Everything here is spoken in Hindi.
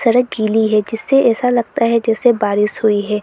सड़क गीली है जिससे ऐसा लगता है जैसे बारिश हुई है।